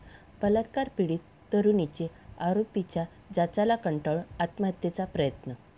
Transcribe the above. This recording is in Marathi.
बलात्कार पीडित तरुणीची आरोपींच्या जाचाला कंटाळून आत्महत्येचा प्रयत्न